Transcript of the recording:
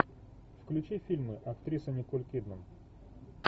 включи фильмы актриса николь кидман